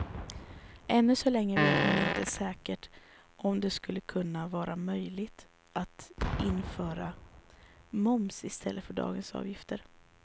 Ännu så länge vet man inte säkert om det skulle kunna vara möjligt att införa moms i stället för dagens avgifter.